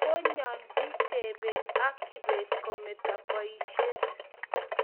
koyanjin jebet ak kibet kometo boishet